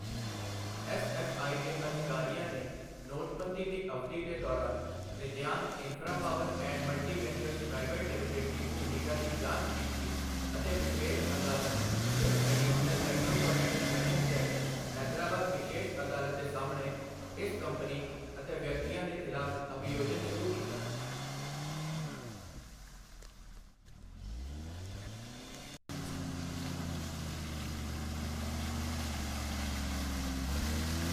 SFI ਦੇ ਅਧਿਕਾਰੀਆਂ ਨੇ ਨੋਟਬੰਦੀ ਦੀ ਅਵਧੀ ਦੇ ਦੌਰਾਨ Nityank Infrapower and Multiventures private limited ਦੀ ਭੂਮਿਕਾ ਦੀ ਜਾਂਚ ਕੀਤੀ ਅਤੇ ਵਿਸ਼ੇਸ਼ ਅਦਾਲਤ ਤਿੰਨ ਐਡੀਸ਼ਨਲ ਮੈਟ੍ਰੋਪੋਲੀਟਨ ਸੈਸ਼ਨ ਜੱਜ, ਹੈਦਰਾਬਾਦ ਵਿਸ਼ੇਸ਼ ਅਦਾਲਤ ਦੇ ਸਾਹਮਣੇ ਇਸ ਕੰਪਨੀ ਅਤੇ ਵਿਅਕਤੀਆਂ ਦੇ ਖਿਲਾਫ਼ ਅਭਿਯੋਜਨ ਸ਼ੁਰੂ ਕੀਤਾ।